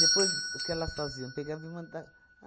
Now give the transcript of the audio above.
Depois o que elas faziam, pegavam e manda